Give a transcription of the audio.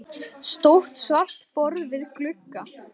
Stórt svart borð við glugga.